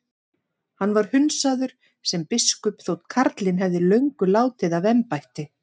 Hann var hundsaður sem biskup þótt karlinn hefði löngu látið af embætti.